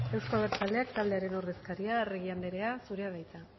euzko abertzaleak taldearen ordezkaria arregi andrea zurea da hitza